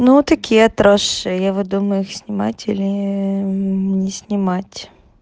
ну такие отросшие я вот думаю их снимать или не снимать